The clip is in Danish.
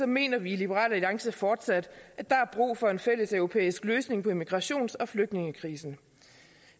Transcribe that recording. mener vi i liberal alliance fortsat at der er brug for en fælles europæisk løsning på immigrations og flygtningekrisen